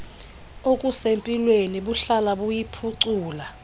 okusempilweni buhlala buyiphucula